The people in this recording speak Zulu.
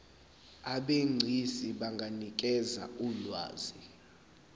abegcis benganikeza ulwazi